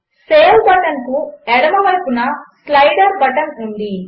సేవ్బటన్కుఎడమవైపునస్లైడర్బటన్ఉంది